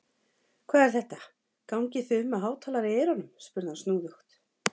Hvað er þetta, gangið þið um með hátalara í eyrunum? spurði hann snúðugt.